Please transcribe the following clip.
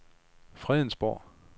Fredensborg